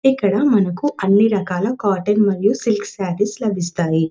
ఇక్కడ మనకు అన్ని రకాల కాటన్ మరియు సిల్క్ సారీ లభిస్తాయి.